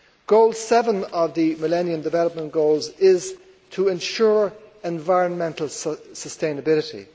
Goal 7 of the Millennium Development Goals is to ensure environmental sustainability.